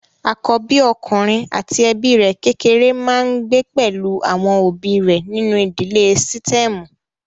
Àkóbí ọkùnrin àti ẹbí rẹ̀ kékéré máa ń gbé pẹ̀lú àwọn òbí rẹ̀ nínú ìdílé sítẹ́ẹ̀mù.